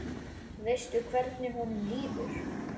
Veistu hvernig honum líður?